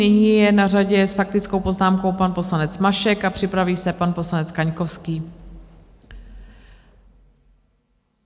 Nyní je na řadě s faktickou poznámkou pan poslanec Mašek a připraví se pan poslanec Kaňkovský.